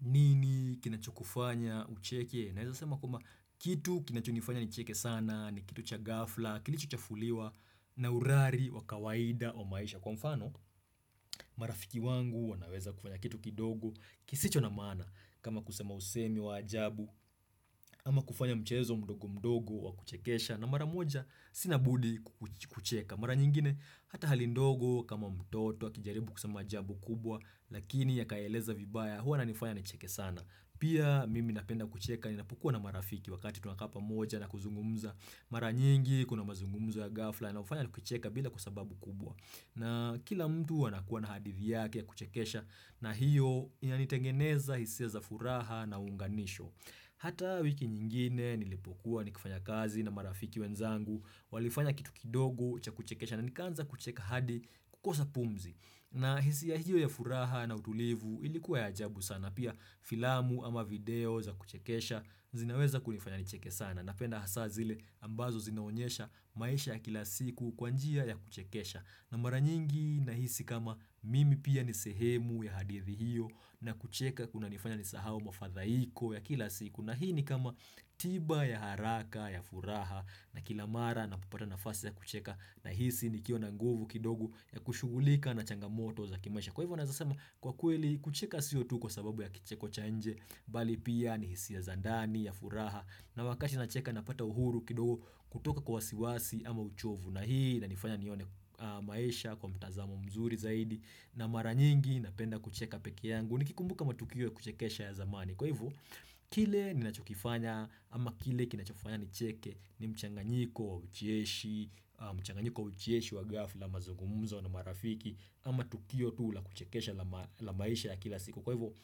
Nini kinacho kufanya ucheke? Naweza sema kwamba kitu kinacho nifanya ni cheke sana, ni kitu cha gafla, kilicho chafuliwa, na urari, wakawaida, wamaisha. Kwa mfano, marafiki wangu wanaweza kufanya kitu kidogo, kisicho na maana kama kusema usemi wa ajabu, ama kufanya mchezo mdogo mdogo wa kuchekesha, na mara moja sinabudi kucheka. Mara nyingine, hata hali ndogo kama mtoto, akijaribu kusema jambo kubwa, lakini ya kaeleza vibaya, hua na nifanya ni cheke sana. Pia mimi napenda kucheka ni napokuwa na marafiki wakati tunakaa moja na kuzungumza mara nyingi, kuna mazungumzo ya ghafla yanao fanya kucheka bila sababu kubwa. Na kila mtu anakuwa na hadithi yake ya kuchekesha na hiyo ya initengeneza hisi ya za furaha na unganisho. Hata wiki nyingine nilipokuwa ni kufanya kazi na marafiki wenzangu walifanya kitu kidogo cha kuchekesha na nikanza kucheka hadi kukosa pumzi. Na hisia hiyo ya furaha na utulivu ilikuwa ya ajabu sana. Pia filamu ama video za kuchekesha zinaweza kunifanya nicheke sana. Napenda hasa zile ambazo zinaonyesha maisha ya kila siku kwa njia ya kuchekesha. Na mara nyingi na hisi kama mimi pia nisehemu ya hadithi hiyo na kucheka kuna nifanya nisahawo mafadhaiko ya kila siku na hii ni kama tiba ya haraka ya furaha na kila mara na popata nafasi ya kucheka na hisi ni kio na nguvu kidogo ya kushugulika na changamoto za kimaisha. Kwa hivyo naeza sema kwa kweli kucheka siyo tu kwa sababu ya kicheko cha nje bali pia ni hisia za ndani ya furaha na wakati nacheka na pata uhuru kidogo kutoka kwa wasiwasi ama uchovu na hii na inifanya nione maesha kwa mtazamo mzuri zaidi na mara nyingi na penda kucheka peke yangu ni kikumbuka matukio kuchekesha ya zamani. Kwa hivyo, kile ni nachokifanya ama kile kinachofanya ni cheke ni mchanganyiko wa ucheshi, mchanganyiko wa ucheshi wa ghafla mazugumuzo na marafiki ama tukio tu ula kuchekesha la maisha ya kila siku. Kwa hivyo,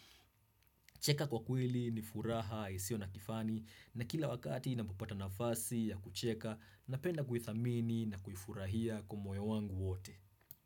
cheka kwa kweli ni furaha, isio na kifani na kila wakati inapopata nafasi ya kucheka na penda kuithamini na kuifurahia kwa moyo wangu wote.